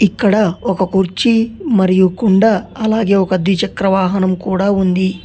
ఇక్కడ ఒక కుర్చీ మరియు కుండ అలాగే ఒక ద్విచక్ర వాహనం కూడ ఉంది.